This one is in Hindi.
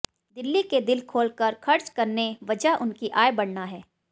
दिल्ली के दिल खोलकर खर्च करने वजह उनकी आय बढऩा है